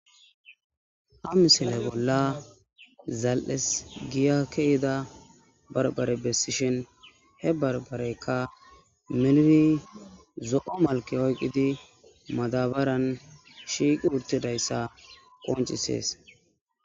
ha misile bolla zal7es giya ke'ida barbare bessishin he barbareykka melni zo7o malke oyqqidi madabaran shiiqi uttidayssa qoncisees